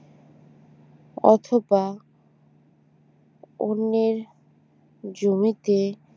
অথবা অন্যের জমিতে